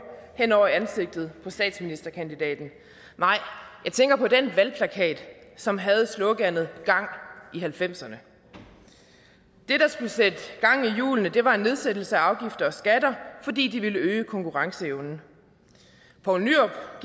hen over ansigtet på statsministerkandidaten nej jeg tænker på den valgplakat som havde sloganet gang i halvfemserne det der skulle sætte gang i hjulene var en nedsættelse af afgifter og skatter fordi det ville øge konkurrenceevnen poul nyrup